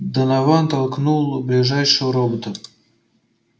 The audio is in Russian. донован толкнул ближайшего робота